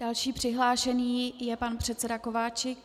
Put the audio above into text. Další přihlášený je pan předseda Kováčik.